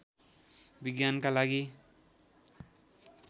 विज्ञानका लागि